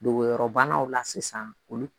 Nogoyɔrɔbanaw la sisan olu